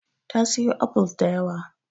Ta siyo apples da yawa.